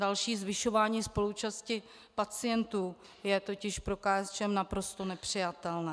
Další zvyšování spoluúčasti pacientů je totiž pro KSČM naprosto nepřijatelné.